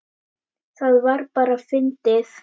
Það var bara fyndið.